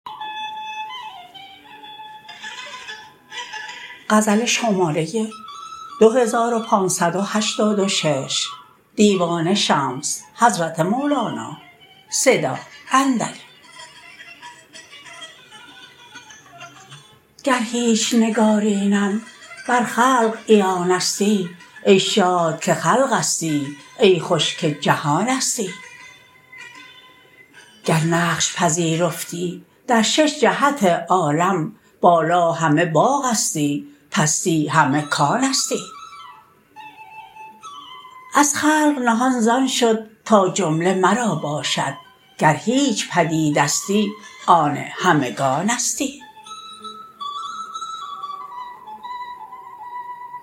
گر هیچ نگارینم بر خلق عیانستی ای شاد که خلقستی ای خوش که جهانستی گر نقش پذیرفتی در شش جهت عالم بالا همه باغستی پستی همه کانستی از خلق نهان زان شد تا جمله مرا باشد گر هیچ پدیدستی آن همگانستی